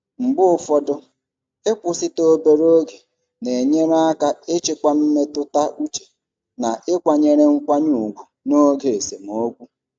Mgbe ụfọdụ, ịkwụsịtụ obere oge na-enyere aka ịchịkwa mmetụta uche na ịkwanyere nkwanye ùgwù n'oge esemokwu.